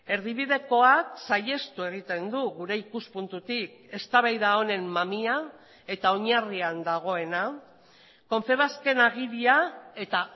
erdibidekoak saihestu egiten du gure ikuspuntutik eztabaida honen mamia eta oinarrian dagoena confebasken agiria eta